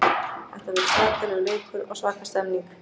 Þetta verður svakalegur leikur og svaka stemning.